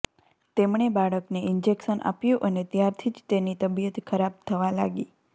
તેમણે બાળકને ઈન્જેક્શન આપ્યું અને ત્યારથી જ તેની તબિયત ખરાબ થવા લાગી